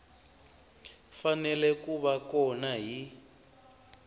fanele ku va kona hi